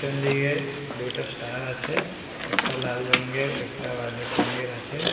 Peon দিকে দুইটা star আছে একটা লাল রঙের একটা ভায়োলেট রঙের আছে।